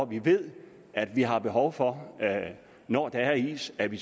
vi ved at vi har behov for når der er is at vi